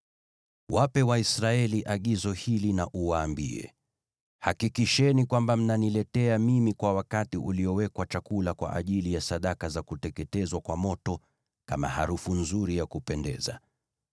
“Wape Waisraeli agizo hili na uwaambie: ‘Hakikisheni kwamba mnaniletea mimi kwa wakati uliowekwa chakula kwa ajili ya sadaka za kuteketezwa kwa moto, kama harufu nzuri ya kupendeza.’